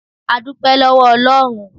A dúpẹ́ lọ́wọ́ Ọlọ́run.